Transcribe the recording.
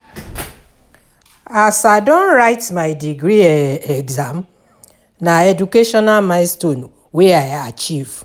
As I don write my degree exam, na educational milestone wey I achieve.